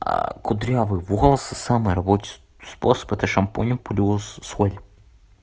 а кудрявый волос самый рабочий способ это шампунем плюс соль